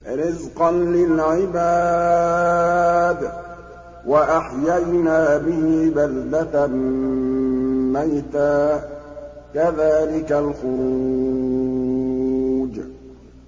رِّزْقًا لِّلْعِبَادِ ۖ وَأَحْيَيْنَا بِهِ بَلْدَةً مَّيْتًا ۚ كَذَٰلِكَ الْخُرُوجُ